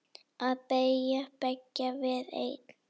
Að vilji beggja var einn.